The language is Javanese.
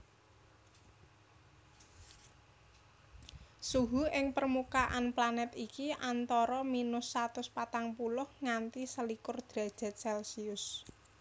Suhu ing permukaan planet iki antara minus satus patang puluh nganti selikur derajat celsius